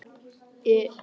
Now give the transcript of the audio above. I